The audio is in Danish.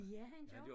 Ja han gør